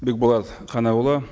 бекболат қанайұлы